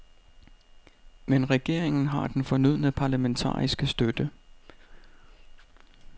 Men regeringen har den fornødne parlamentariske støtte.